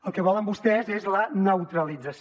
el que volen vostès és la neutralització